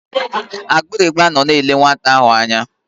Agbịrịgba nọ na-ele nwata ahụ anya.